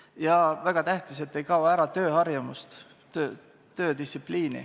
Ja mis väga tähtis: ei kao ära tööharjumus, töödistsipliin.